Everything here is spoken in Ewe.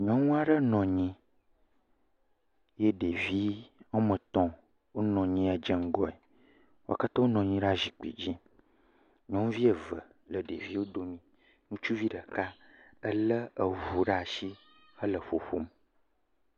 Nyɔnu aɖe nɔ anyi ye ɖevi woame etɔ̃ wonɔ anyi dze ŋgɔe. Wo katã wonɔ anyi ɖe zikpui dzi. Nyɔnuvi eve le ɖeviwo dome, ŋutsuvi ɖeka, elé eŋu ɖe asi hele ƒoƒom.